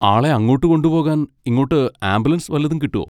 ആളെ അങ്ങോട്ട് കൊണ്ടുപോകാൻ ഇങ്ങോട്ട് ആംബുലൻസ് വല്ലതും കിട്ടോ?